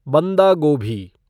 बंदा गोभी